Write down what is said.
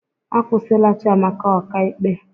Akwụsịla Chiamaka ọka ikpe